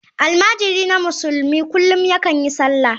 Almajirina musulmi kullum yakan yi sallah.